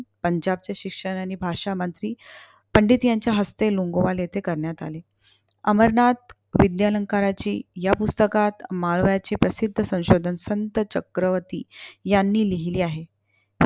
पंजाबचे शिक्षा आणि भाषा मंत्री पंडित यांच्या हस्ते लोंगोवाल इथे करण्यात आले. अमरनाथ विद्यालंकाराची या पुस्तकात माळव्याचे प्रसिद्ध संशोधक संत चक्रवर्ती यांनी लिहिले आहे.